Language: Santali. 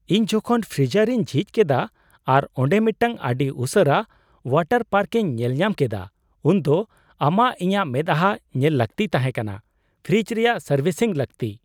ᱤᱧ ᱡᱚᱠᱷᱚᱱ ᱯᱷᱨᱤᱡᱟᱨᱤᱧ ᱡᱷᱤᱡ ᱠᱮᱫᱟ ᱟᱨ ᱚᱸᱰᱮ ᱢᱤᱫᱴᱟᱝ ᱟᱹᱰᱤ ᱩᱥᱟᱹᱨᱟ ᱳᱣᱟᱴᱟᱨ ᱯᱟᱨᱠᱤᱧ ᱧᱮᱞᱧᱟᱢ ᱠᱮᱫᱟ ᱩᱱᱫᱚ ᱟᱢᱟᱜ ᱤᱧᱟᱹᱜ ᱢᱮᱫᱦᱟᱸ ᱧᱮᱞ ᱞᱟᱹᱠᱛᱤ ᱛᱟᱦᱮᱸ ᱠᱟᱱᱟ ᱾ ᱯᱷᱨᱤᱡ ᱨᱮᱭᱟᱜ ᱥᱟᱨᱵᱷᱤᱥᱤᱝ ᱞᱟᱹᱠᱛᱤ ᱾